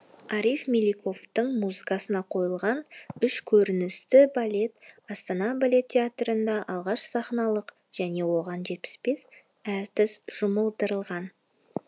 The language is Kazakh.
ариф меликовтің музыкасына қойылған үш көріністі балет астана балет театрында алғаш сахналанық және оған жетпіс бес әртіс жұмылдырылған